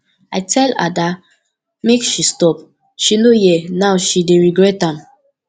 i tell ada make she stop she no hear now she dey regret am